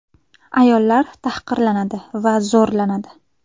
Ayollar tahqirlanadi va zo‘rlanadi.